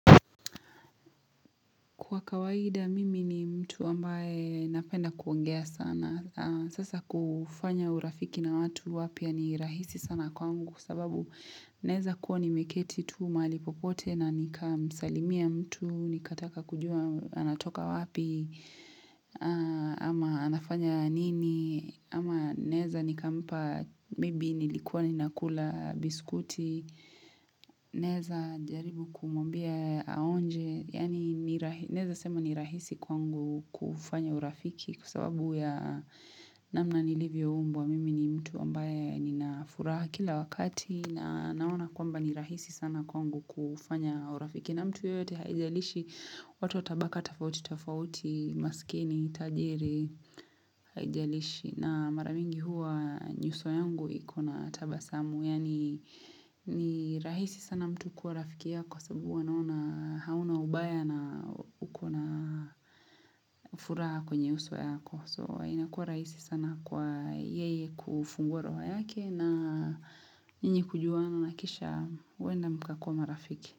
Kwa kawaida, mimi ni mtu ambaye napenda kuongea sana. Sasa kufanya urafiki na watu wapya ni rahisi sana kwangu. Sababu naeza kuwa nimeketi tu mahali popote na nikamsalimia mtu, nikataka kujua anatoka wapi, ama anafanya nini, ama naeza nikampa, maybe nilikuwa ninakula biskuti, naeza jaribu kumwambia aonje. Yaani naeza sema ni rahisi kwangu kufanya urafiki kwa sababu ya namna nilivyoumbwa mimi ni mtu ambaye nina furaha kila wakati na naona kwamba ni rahisi sana kwangu kufanya urafiki. Kini tajiri haijalishi na mara nyingi huwa nyuso yangu ikona tabasamu yaani ni rahisi s mtu kuwa rafiki yako kwa sababu anaona hauna ubaya na kuna ufuraa kwenye uswa yako. So inakua raisi sana kwa yeye kufungua roho yake na nyinyi kujuana nakisha huenda mkakua marafiki.